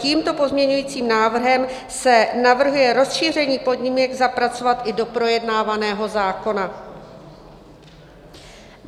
Tímto pozměňujícím návrhem se navrhuje rozšíření podmínek zapracovat i do projednávaného zákona.